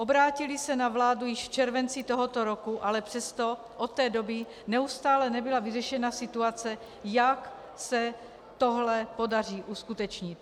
Obrátily se na vládu již v červenci tohoto roku, ale přesto od té doby neustále nebyla vyřešena situace, jak se tohle podaří uskutečnit.